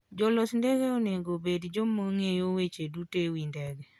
Jolos ndege onego obed joma ng'eyo weche duto e wi ndege.